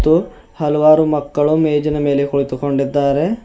ಗೂ ಹಲವಾರು ಮಕ್ಕಳು ಮೇಜಿನ ಮೇಲೆ ಕುಳಿತುಕೊಂಡಿದ್ದಾರೆ.